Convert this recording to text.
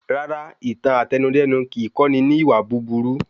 Rara, ìtàn Àtẹnudẹ́nu kìí kọ́ni ní ìwà búburú